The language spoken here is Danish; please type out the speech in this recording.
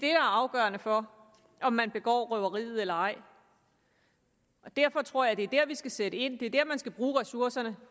er afgørende for om man begår røveriet eller ej derfor tror jeg det er der vi skal sætte ind det er der man skal bruge ressourcerne